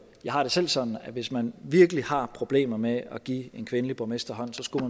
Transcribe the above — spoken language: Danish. jeg har det selv sådan at hvis man virkelig har problemer med at give en kvindelig borgmester hånden så skulle